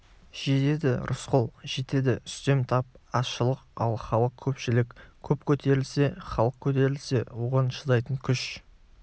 жетеді рысқұл жетеді үстем тап азшылық ал халық көпшілік көп көтерілсе халық көтерілсе оған шыдайтын күш